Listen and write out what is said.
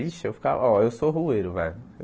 Ixi, eu ficava... Ó, eu sou rueiro, velho.